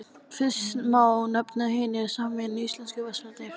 Fyrst má nefna Hinar sameinuðu íslensku verslanir.